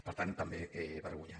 per tant també vergonyant